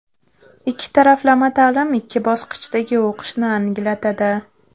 Ikki taraflama ta’lim ikki bosqichdagi o‘qishni anglatadi.